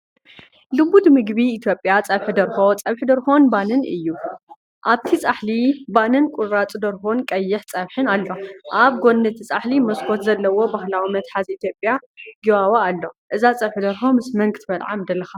ልሙድ ምግቢ ኢትዮጵያ ፀብሒ ደርሆ (ፀብሒ ደርሆን ባኒን) እዩ። ኣብቲ ጻሕሊ ባኒን ቁራጽ ደርሆን ቀይሕ ፀብሕን ኣሎ። ኣብ ጎኒ እቲ ጻሕሊ መስኮት ዘለዎ ባህላዊ መትሓዚ ኢትዮጵያ፡ “ጊባቦ” ኣሎ። እዛ ፀብሒ ደርሆ ምስ መን ክትበልዓ ምደለኻ?